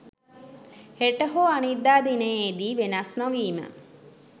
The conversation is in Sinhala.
හෙට හෝ අනිද්දා දිනයේ දී වෙනස් නොවිම